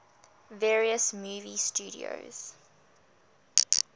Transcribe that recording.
various movie studios